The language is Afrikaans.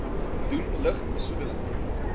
doen lug besoedeling